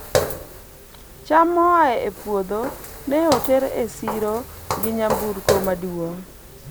cham moa e puotho ne oter e siro gi nyamburko maduong'